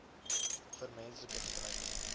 vir menslike gebruik